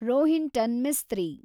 Rohinton Mistry